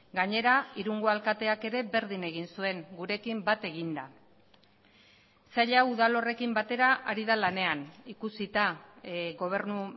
gainera irungo alkateak ere berdin egin zuen gurekin bat eginda sail hau udal horrekin batera ari da lanean ikusita gobernu